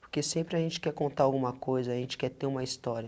Porque sempre a gente quer contar alguma coisa, a gente quer ter uma história.